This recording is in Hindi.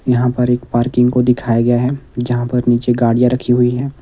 यहां पर एक पार्किंग को दिखाया गया है। जहां पर नीचे गाड़ियां रखी हुई है।